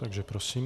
Takže prosím.